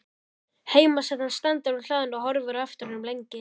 Heimasætan stendur á hlaðinu og horfir á eftir honum lengi.